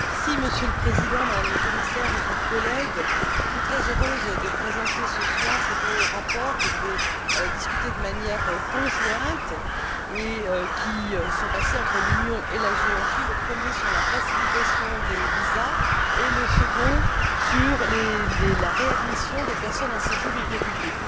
Monsieur le Président, Madame la Commissaire, chers collègues, je suis très heureuse de présenter ce soir ces deux rapports que je vais évoquer de manière conjointe sur les accords passés entre l'Union et la Géorgie, le premier sur la facilitation des visas et le second sur la réadmission des personnes en séjour irrégulier.